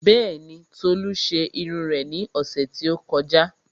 Bẹ́ẹ̀ni, Tolu ṣe irun rẹ̀ ní ọ̀sẹ̀ tí ó kọjá